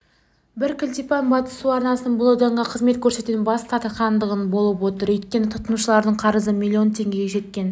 бар кілтипан батыс су арнасының бұл ауданға қызмет көрсетуден бас тартқандығында болып отыр өйткені тұтынушылардың қарызы миллион теңгеге жеткен